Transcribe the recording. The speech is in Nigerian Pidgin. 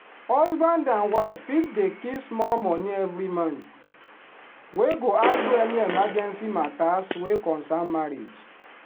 husband and wife fit dey keep small money every month wey go handle any emergency matters wey concern marriage.